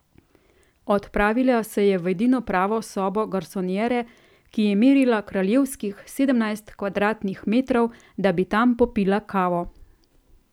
Odpravila se je v edino pravo sobo garsonjere, ki je merila kraljevskih sedemnajst kvadratnih metrov, da bi tam popila kavo.